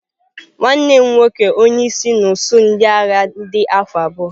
Nwanne m nwoke onye isi n'usuu ndị agha dị afọ abụọ.